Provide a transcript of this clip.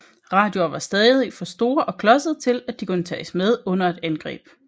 Radioer var stadig for store og klodsede til at de kunne tages med under et angreb